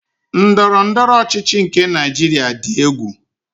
Ndọrọndọrọ ọchịchị nke Naịjiria dị egwu.